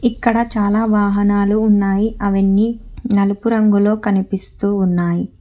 ఇక్కడ చాలా వాహనాలు ఉన్నాయి అవన్నీ నలుపు రంగులో కనిపిస్తూ ఉన్నాయి.